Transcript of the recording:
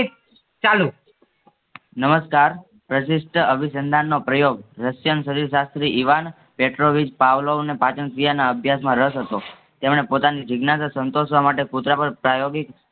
ચાલો નમસ્કાર પ્રશિષ્ઠ અભિસંધાનનો પ્રયોગ શાસ્ત્રી ઇવાન પાવલોને પાચન ક્રિયાના અભ્યાસમાં રસ હતો. તમે પોતાને જિજ્ઞાસા સંતોસ્વા માટે પ્રયોગી